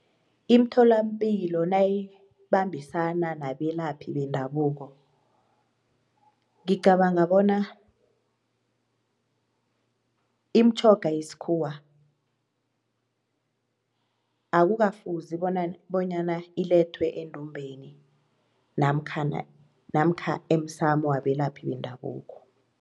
Imtholampilo nayibambisana nabelaphi bendabuko ngicabanga bona imtjhoga yesikhuwa akukafuzi bona bonyana ilethwe endumbheni namkhana namkha emsamo wabelaphi bendabuko.